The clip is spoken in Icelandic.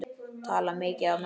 Tala mikið á meðan.